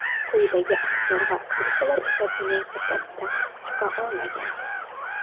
Quyidagi aktyor va aktrisalar esa buning uddasidan chiqa olgan.